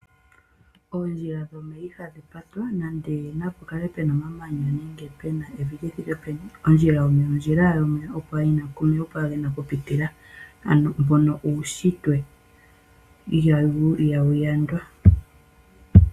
Oondjila dhomeya ihadhi patwa nande napu kale puna omamanya nenge puna evi lithike peni ondjila yomeya opo owala puna okupitila omeya ano mbono uunshitwe ihawu yandwa.